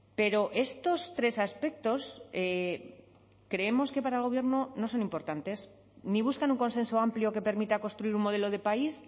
pero estos tres aspectos creemos que para el gobierno no son importantes ni buscan un consenso amplio que permita construir un modelo de país